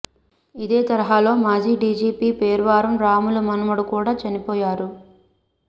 ఇదే తరహాలో మాజీ డీజీపీ పేర్వారం రాములు మనుమడు కూడా చనిపోయారు